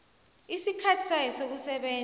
isikhathi sayo sokusebenza